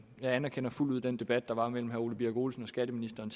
jeg anerkender fuldt ud den debat der var mellem herre ole birk olesen og skatteministeren